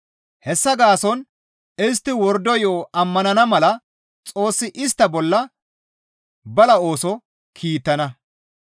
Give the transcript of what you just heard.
Hessa gaason istti wordo yo7o ammanana mala Xoossi istta bolla bala ooso kiittana.